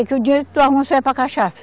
Porque o dinheiro do teu almoço é para cachaça.